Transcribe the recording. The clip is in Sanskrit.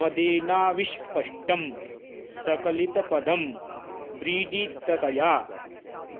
मदेनाविष्पष्टं सकलितपदं व्रीडिततया